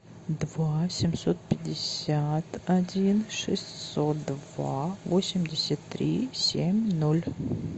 два семьсот пятьдесят один шестьсот два восемьдесят три семь ноль